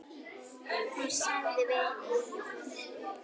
Hún sagði við Eyjólf